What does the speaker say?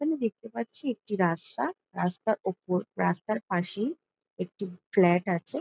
এখানে দেখতে পাচ্ছি একটি রাস্তা। রাস্তার ওপর রাস্তার পাশেই একটি ফ্লাট আছে ।